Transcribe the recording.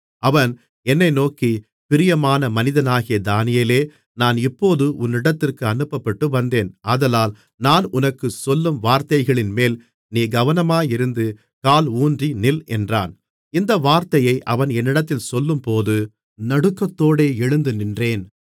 அவன் என்னை நோக்கி பிரியமான மனிதனாகிய தானியேலே நான் இப்போது உன்னிடத்திற்கு அனுப்பப்பட்டு வந்தேன் ஆதலால் நான் உனக்குச் சொல்லும் வார்த்தைகளின்மேல் நீ கவனமாயிருந்து கால் ஊன்றி நில் என்றான் இந்த வார்த்தையை அவன் என்னிடத்தில் சொல்லும்போது நடுக்கத்தோடே எழுந்து நின்றேன்